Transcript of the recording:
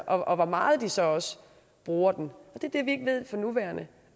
og hvor meget de så også bruger den det er det vi ikke ved for nuværende